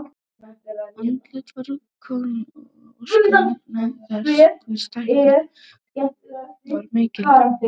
Andlitið var kornótt og óskýrt vegna þess hve stækkunin var mikil.